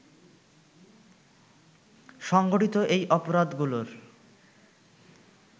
সংঘটিত এই অপরাধগুলোর